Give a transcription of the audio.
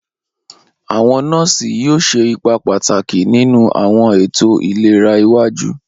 Awọn nọọsi yoo ṣe ipa pataki ninu awọn eto ilera iwaju.